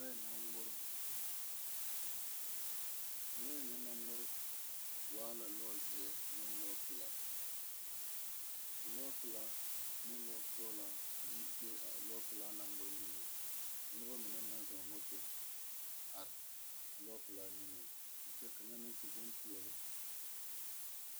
Lɔɛ la ngmore lɔɛ na naŋ ngmore waa la lɔzeɛ a ne lɔpilaa lɔpilaa ne lɔsoglaa yi be a lɔpilaa naŋ ngmore nengeŋ ka noba mine naŋ zɔɔ moto are lɔpilaa nengeŋ kyɛ ka kaŋa meŋ su bonpeɛɛle.